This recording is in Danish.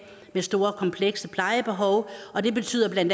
med store komplekse plejebehov og det betyder bla